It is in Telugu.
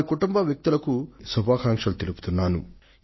వారి కుటుంబ వ్యక్తులకు నా శుభాకాంక్షలు తెలియజేస్తున్నాను